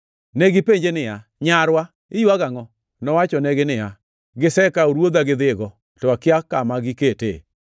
Negipenje niya, “Nyarwa, iywago angʼo?” Nowachonegi niya, “Gisekawo Ruodha gidhigo, to akia kama giketee.”